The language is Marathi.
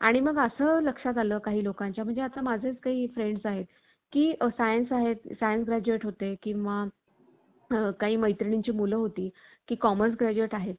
अवितरण झाली. लोकांच्या, स्वातंत्र्याचा अपहार म्हणून, करण्याकरिता, शिवाजी उत्पन्न झाला. किंवा स्वराज्य व स्वधर्म यांचे संरक्षण करण्याकरिता त्यांचा अवतार होता.